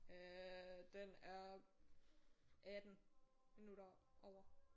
Øh den er 18 minutter over